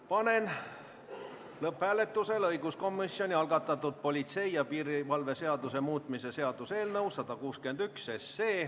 Panen lõpphääletusele õiguskomisjoni algatatud politsei ja piirivalve seaduse muutmise seaduse eelnõu 161.